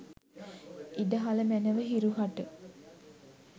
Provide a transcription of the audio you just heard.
ඉඩ හළ මැනව හිරු හට